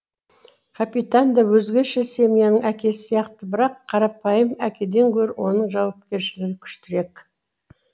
капитан да өзгеше семьяның әкесі сияқты бірақ қарапайым әкеден гөрі оның жауапкершілігі күштірек